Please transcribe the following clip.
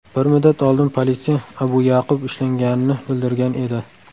Bir muddat oldin politsiya Abu Ya’qub ushlanganini bildirgan edi .